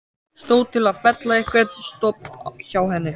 Stóð til að fella einhvern stofn hjá henni?